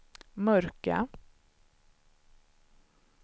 mörka